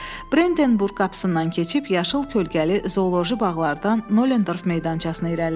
Brenteburq qapısından keçib, yaşıl kölgəli zooloji bağlardan Nolendorf meydançasına irəlilədi.